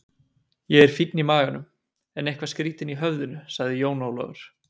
Ég er fínn í maganum, en eitthvað skrýtinn í höfðinu, sagði Jón Ólafur.